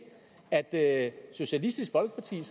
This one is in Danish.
at socialistisk folkeparti